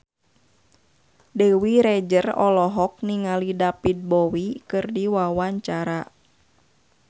Dewi Rezer olohok ningali David Bowie keur diwawancara